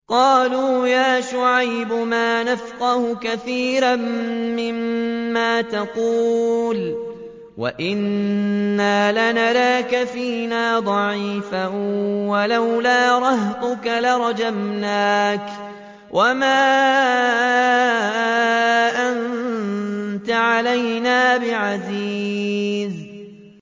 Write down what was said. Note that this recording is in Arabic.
قَالُوا يَا شُعَيْبُ مَا نَفْقَهُ كَثِيرًا مِّمَّا تَقُولُ وَإِنَّا لَنَرَاكَ فِينَا ضَعِيفًا ۖ وَلَوْلَا رَهْطُكَ لَرَجَمْنَاكَ ۖ وَمَا أَنتَ عَلَيْنَا بِعَزِيزٍ